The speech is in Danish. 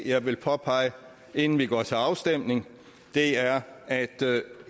jeg vil påpege inden vi går til afstemning er at